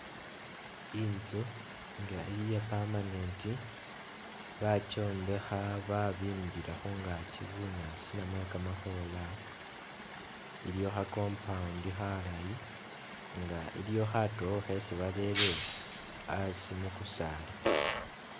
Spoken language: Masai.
Inzu nga iya'permanent bakyombekha babimbila khungaakyi bunyaasi namwe kamakhola, iliwo kha'compound khalayi nga iliwo khatowo khesi barere asi mukusaala